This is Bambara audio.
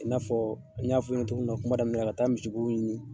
I n'a fɔ, n ɲ'a fɔ i ɲɛna togo min na kuma damina, ka taa misibo ɲini